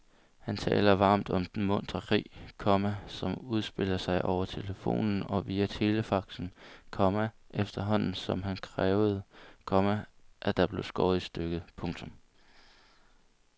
Han taler varmt om den muntre krig, komma som udspillede sig over telefonen og via telefaxen, komma efterhånden som han krævede, komma at der blev skåret i stykket. punktum